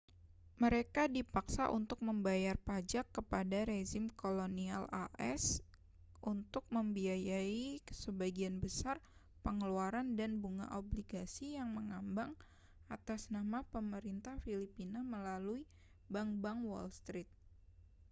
mereka dipaksa untuk membayar pajak kepada rezim kolonial as untuk membiayai sebagian besar pengeluaran dan bunga obligasi yang mengambang atas nama pemerintah filipina melalui bank-bank wall street